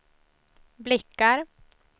blickar